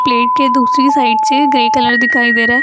Plate के दूसरी side से ग्रे कलर दिखाई दे रहा है।